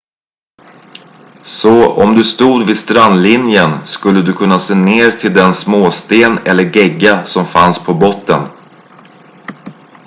så om du stod vid strandlinjen skulle du kunna se ner till den småsten eller gegga som fanns på botten